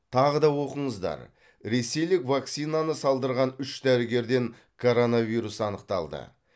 тағы да оқыңыздар ресейлік вакцинаны салдырған үш дәрігерден коронавирус анықталды